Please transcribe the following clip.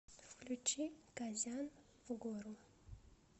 включи казян в гору